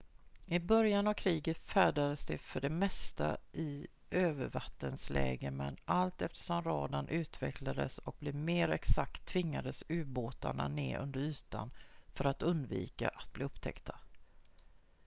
i början av kriget färdades de för det mesta i övervattensläge men allt eftersom radarn utvecklades och blev mer exakt tvingades ubåtarna ned under ytan för att undvika att bli upptäckta